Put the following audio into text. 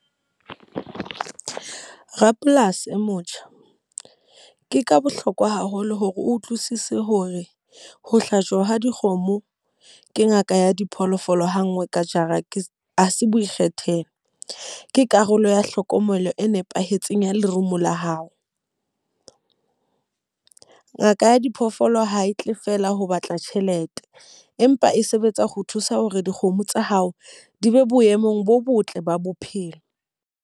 Rapolasi e motjha, ke ka bohlokwa haholo hore o utlwisise hore ho hlajwa ha dikgomo ke ngaka ya diphoofolo ha nngwe ka jara ke ha se boikgethelo. Ke karolo ya hlokomelo e nepahetseng ya lerumo la hao. Ngaka ya diphoofolo ha e tle feela ho batla tjhelete. Empa e sebetsa ho thusa hore dikgomo tsa hao di be boemong bo botle ba bophelo.